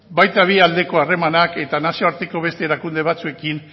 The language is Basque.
baita bi aldeko harremanak eta nazioarteko beste erakunde batzuekin